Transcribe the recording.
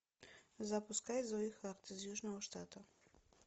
запускай зои харт из южного штата